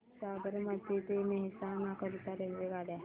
साबरमती ते मेहसाणा करीता रेल्वेगाड्या